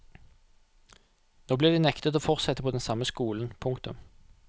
Nå blir de nektet å fortsette på den samme skolen. punktum